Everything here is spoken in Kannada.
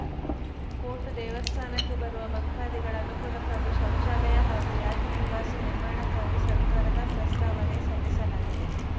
ಕೋಟ್‌ ದೇವಸ್ಥಾನಕ್ಕೆ ಬರುವ ಭಕ್ತಾದಿಗಳ ಅನುಕೂಲಕ್ಕಾಗಿ ಶೌಚಾಲಯ ಹಾಗೂ ಯಾತ್ರಿ ನಿವಾಸ ನಿರ್ಮಾಣಕ್ಕಾಗಿ ಸರ್ಕಾರಕ್ಕೆ ಪ್ರಸ್ತಾವನೆ ಸಲ್ಲಿಸಲಾಗಿದೆ